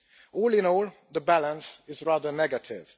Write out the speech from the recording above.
All in all, the balance is rather negative.